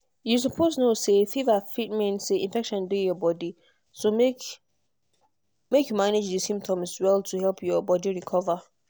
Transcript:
you suppose know say fever fit mean say infection dey your body so make make you manage di symptoms well to help your body recover.